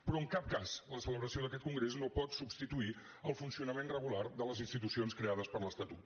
però en cap cas la celebració d’aquest congrés no pot substituir el funcionament regular de les institucions creades per l’estatut